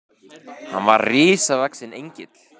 Hann var risavaxinn Engill.